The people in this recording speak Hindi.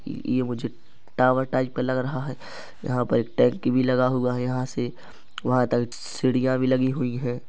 ये मुझे टावर टाइप का लग रहा है यहाँ पर एक टंकी भी लगा हुआ है यहाँ से वहाँ तक सीढियाँ भी लगी हुई है।